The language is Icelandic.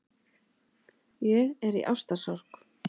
Ég er í ástarsorg.